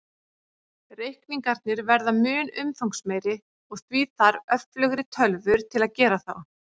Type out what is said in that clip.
Reikningarnir verða mun umfangsmeiri, og því þarf öflugri tölvur til að gera þá.